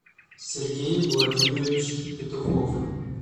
сергей владимирович петухов